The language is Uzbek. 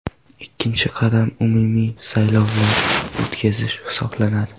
Ikkinchi qadam umumiy saylovlarni o‘tkazish hisoblanadi.